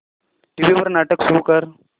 TV वर नाटक सुरू कर